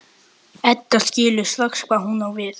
Edda skilur strax hvað hún á við.